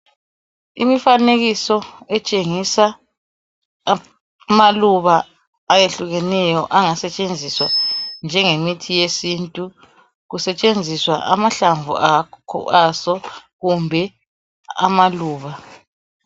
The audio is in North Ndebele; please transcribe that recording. Imifanekiso etshengisa amaluba ayehlukeneyo angasetshenziswa njengemithi yesintu. Kungasetshenziswa amahlamvu aso kumbe amaluba.